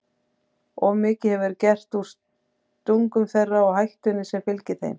Of mikið hefur verið gert úr stungum þeirra og hættunni sem fylgir þeim.